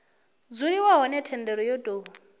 dzuliwa hone thendelo yo tou